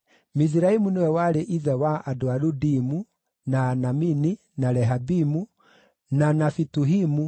Miziraimu nĩwe warĩ ithe wa andũ a Ludimu, na Anamini, na Lehabimu, na Nafituhimu,